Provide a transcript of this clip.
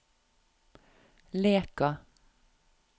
Leka